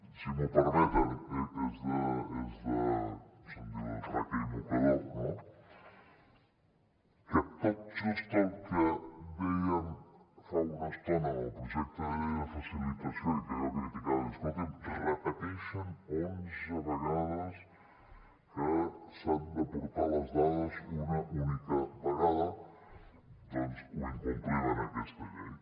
si m’ho permeten se’n diu de traca i mocador no que tot just el que dèiem fa una estona amb el projecte de llei de facilitació econòmica i que jo criticava i deia escolti’m repeteixen onze vegades que s’han de portar les dades una única vegada doncs ho incomplim en aquesta llei